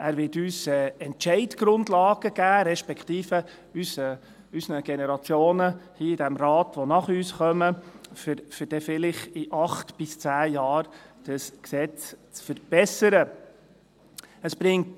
Er wird uns, respektive den Generationen im Rat, die nach uns kommen, Entscheidungsgrundlagen geben, um dann vielleicht in acht bis zehn Jahren das Gesetz zu verbessern.